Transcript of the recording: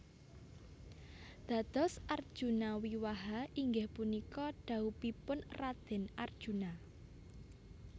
Dados Arjuna Wiwaha inggih punika dhaupipun Raden Arjuna